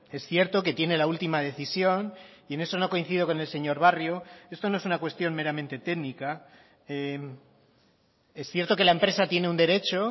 es cierto que tiene la última decisión y en eso no coincido con el señor barrio esto no es una cuestión meramente técnica es cierto que la empresa tiene un derecho